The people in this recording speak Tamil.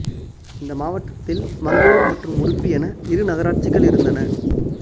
இந்த மாவட்டத்தில் மங்களூர் மற்றும் உடுப்பி என இரு நகராட்சிகள் இருந்தன